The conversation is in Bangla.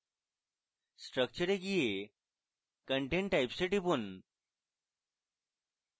structure এ গিয়ে content types এ টিপুন